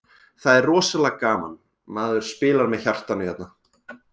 Það er rosalega gaman, maður spilar með hjartanu hérna.